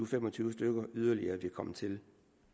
fem og tyve stykker yderligere vil komme til